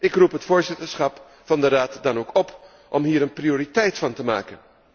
Ik roep het voorzitterschap van de Raad dan ook op om hier een prioriteit van te maken.